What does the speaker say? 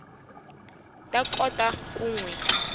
ta kota ku n wi